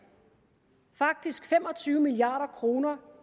faktisk fem og tyve milliard kroner